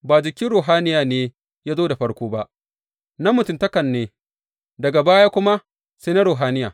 Ba jikin ruhaniya ne ya zo da farko ba, na mutuntakan ne, daga baya kuma sai na ruhaniya.